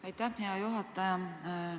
Aitäh, hea juhataja!